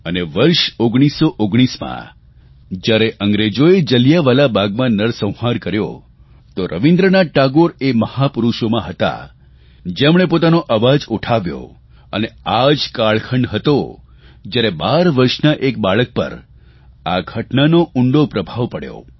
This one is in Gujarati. અને વર્ષ 1919માં જયારે અંગ્રેજોએ જલિયાંવાલા બાગમાં નરસંહાર કર્યો તો રવીન્દ્રનાથ ટાગોર એ મહાપુરૂષોમાં હતા જેમણે પોતાનો અવાજ ઉઠાવ્યો અને આ જ કાળખંડ હતો જયારે 12 વર્ષના એક બાળક પર આ ઘટનાનો ઉંડો પ્રભાવ પડ્યો